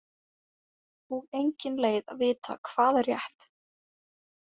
Og engin leið að vita hvað er rétt.